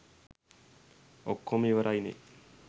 ඔක්කොම ඉවරයිනේ.